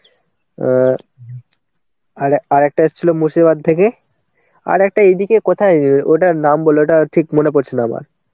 অ্যাঁ আর আরেকটা এসছিল মুর্শিদাবাদ থেকে আর একটা এদিকে কোথায় ওটার নাম বলে ওটা ঠিক মনে পড়ছে না আমার